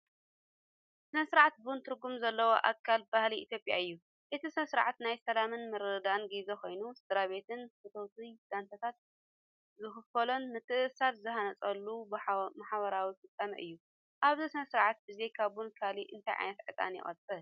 "ስነ-ስርዓት ቡን" ትርጉም ዘለዎ ኣካል ባህሊ ኢትዮጵያ እዩ። እቲ ስነ-ስርዓት ናይ ሰላምን ምርድዳእን ግዜ ኮይኑ፡ ስድራቤትን ፈተውትን ዛንታታት ዝካፈሉን ምትእስሳር ዝሃንጹሉን ማሕበራዊ ፍጻመ እዩ። ኣብዚ ስነ-ስርዓት ብዘይካ ቡን ካልእ እንታይ ዓይነት ዕጣን ይቃጸል?